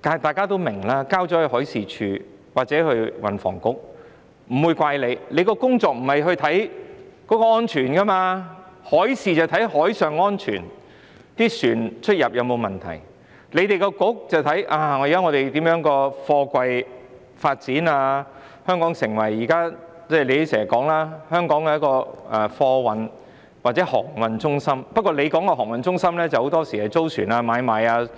大家也明白，有關工作由海事處或運房局負責，我們不會責怪他們，因為海事處負責監察海上安全，看看船隻出入有否問題，運房局則應負責審視香港的貨櫃發展......政府經常說香港是貨運或航運中心，但政府很多時候着重租船、買賣